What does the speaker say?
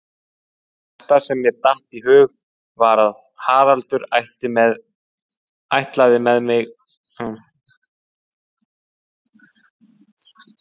Það helsta sem mér datt í hug var að Haraldur ætlaði með mig í